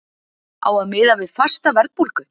Á að miða við fasta verðbólgu?